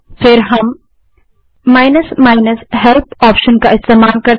तब हम help option का इस्तेमाल करते हैं